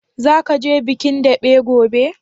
Zaka je bikin daɓe gobe?